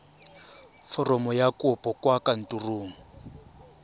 foromo ya kopo kwa kantorong